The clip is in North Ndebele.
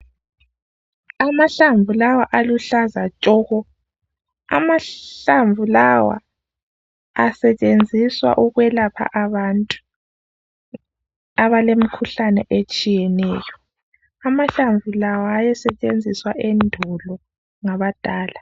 Amahlamvu lawa aluhlaza tshoko. Amahlamvu lawa asetshenziswa ukwelapha abantu abalemkhulane etshiyeneyo. Amahlamvu lawa ayesetshenziswa endulo ngabadala.